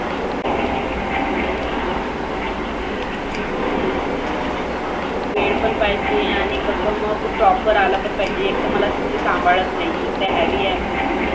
वेळ पण पाहिजे आणि एकदम proper आला पाहीजे. एक तर मला scooter सांभाळत नाही एकतर heavy आहे अमची scooty